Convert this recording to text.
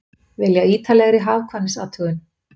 Vilja ítarlegri hagkvæmnisathugun